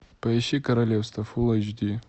поищи королевство фул эйч ди